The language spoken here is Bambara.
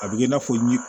A bɛ kɛ i n'a fɔ ni